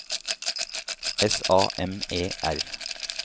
S A M E R